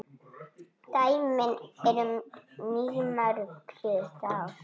Dæmin eru mýmörg síðustu ár.